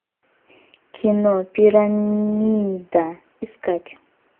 кино пирамида искать